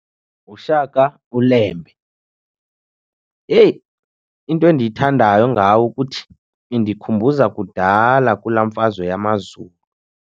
NguShaka uLembe. Heyi, into endiyithandayo ngawo ukuthi indikhumbuza kudala kulaa mfazwe yamaZulu.